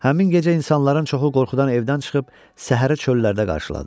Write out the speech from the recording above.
Həmin gecə insanların çoxu qorxudan evdən çıxıb səhəri çöllərdə qarşıladı.